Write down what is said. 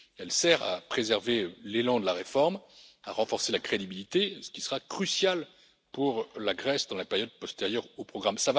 Elle sert à préserver l'élan de la réforme, à renforcer la crédibilité, ce qui sera crucial pour la Grèce pendant la période postérieure au programme.